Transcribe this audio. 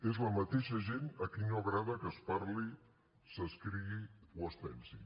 és la mateixa gent a qui no agrada que es parli s’escrigui o es pensi